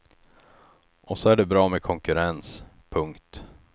Och så är det bra med konkurrens. punkt